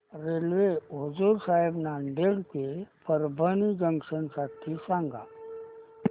railway Hazur Sahib Nanded ते Parbhani junction साठी सांगा